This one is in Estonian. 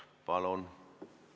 Palun!